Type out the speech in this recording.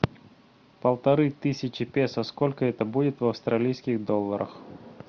полторы тысячи песо сколько это будет в австралийских долларах